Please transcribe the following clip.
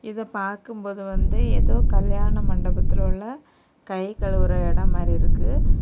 இத பாக்கும் போது வந்து ஏதோ கல்யாண மண்டபத்தலுள்ள கை கழுவுற இடம் மாறி இருக்கு.